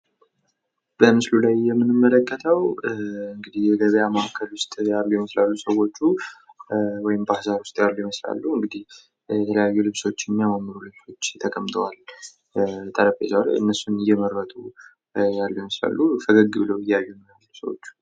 በምስሉ ላይ የምንመለከተው የገበያ ማእከል ውስጥ ያሉ ይመስላሉ ሰዎቹ፤ ወይም ባዛር ውስጥ ያሉ ይመስላሉ። የተለያዩ ልብሶች ጠረንጴዛ ላይ ቀምጠዋል ፣ ሰዎቹ ፈገግ ብለው እየመረጡ ይታያሉ።